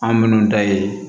An minnu da ye